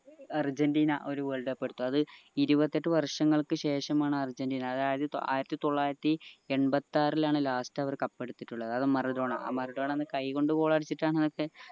Argentina ഒരു world cup എടുത്തു അത് ഇരുപത്തിയെട്ട് വർഷങ്ങൾക്ക് ശേഷമാണ് അര്ജന്റീന അതായത് ആയിരത്തി തൊള്ളായിരത്തി എണ്പത്താറിലാണ് last അവർ cup എടുത്തിട്ടുള്ളത് അത് മറഡോണ ആ മറഡോണ അന്ന് കയ്യ് കൊണ്ട് goal അടിച്ചിട്ടാണ്